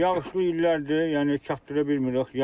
Yağışlı illərdir, yəni çatdıra bilmirik.